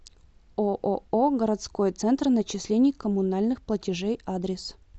ооо городской центр начислений коммунальных платежей адрес